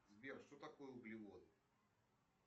сбер что такое углевод